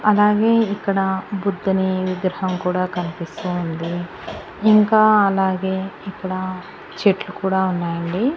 అలాగే ఇక్కడ బుద్ధుని విగ్రహం కూడా కనిపిస్తూ ఉంది ఇంకా అలాగే ఇక్కడ చెట్లు కూడా ఉన్నాయండి.